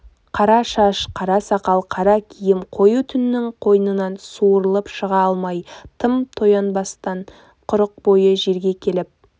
қара шаш қара сақал қара киім қою түннің қойнынан суырылып шыға алмай тым таянбастан құрық бойы жерге келіп